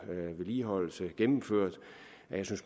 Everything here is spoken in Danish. vedligeholdelse gennemført at jeg